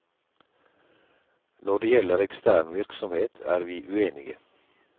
Når det gjelder ekstern virksomhet, er vi uenige.